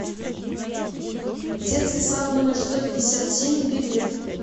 детский сад номер сто пятьдесят семь билет